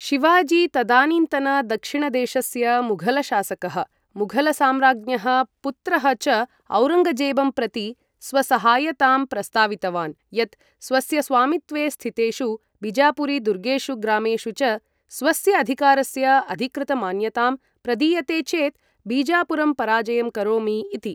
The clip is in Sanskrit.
शिवाजी, तदानीन्तन दक्षिणदेशस्य मुघल शासकः, मुघल सम्राज्ञः पुत्रः च औरङ्गजेबं प्रति स्वसहायतां प्रस्तावितवान्, यत् स्वस्य स्वामित्वे स्थितेषु बिजापुरी दुर्गेषु ग्रामेषु च स्वस्य अधिकारस्य अधिकृतमान्यतां प्रदीयते चेत् बिजापुरं पराजयं करोमि इति।